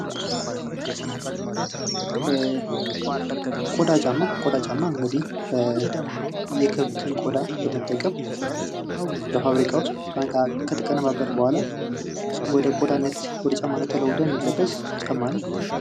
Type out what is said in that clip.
ቆዳ ጫማ ፡-ቆዳ ጫማ እንግዲህ የከብትን ቆዳ በመጠቀም በፋብሪካ ውስጥ ገብቶ ከተቀነባበረ በኋላ ወደ ጫማነት ተለውጦ የሚለበስ ጫማ ነው።